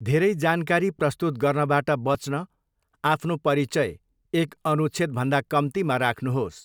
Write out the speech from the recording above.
धेरै जानकारी प्रस्तुत गर्नबाट बच्न आफ्नो परिचय एक अनुच्छेदभन्दा कम्तीमा राख्नुहोस्।